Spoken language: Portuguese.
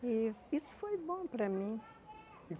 E isso foi bom para mim.